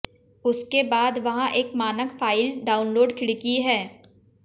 उसके बाद वहाँ एक मानक फ़ाइल डाउनलोड खिड़की है